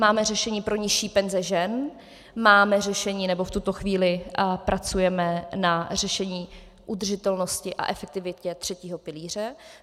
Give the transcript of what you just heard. Máme řešení pro nižší penze žen, máme řešení, nebo v tuto chvíli pracujeme na řešení udržitelnosti a efektivitě třetího pilíře.